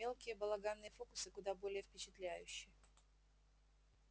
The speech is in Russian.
мелкие балаганные фокусы куда более впечатляющи